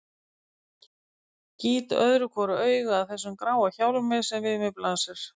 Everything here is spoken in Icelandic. Gýt öðru hvoru auga að þessum gráa hjálmi sem við mér blasir.